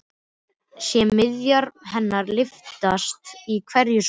Sé mjaðmir hennar lyftast í hverju spori.